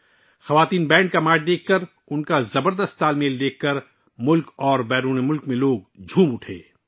خواتین کے بینڈ کی مارچنگ دیکھ کر اور ان کی زبردست ہم آہنگی کو دیکھ کر ملک اور بیرون ملک کے لوگ بہت خوش ہوئے